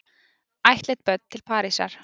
Ættleidd börn til Parísar